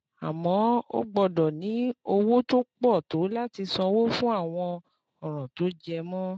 Àmọ́, o gbọ́dọ̀ ní owó tó pọ̀ tó láti sanwó fún àwọn ọ̀ràn tó jẹ mọ́